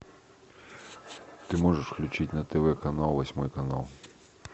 ты можешь включить на тв канал восьмой канал